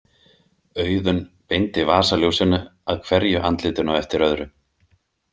Auðunn beindi vasaljósinu að hverju andlitinu á eftir öðru.